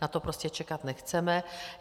Na to prostě čekat nechceme.